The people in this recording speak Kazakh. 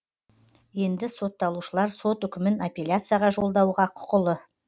енді сотталушылар сот үкімін аппеляцияға жолдауға құқылы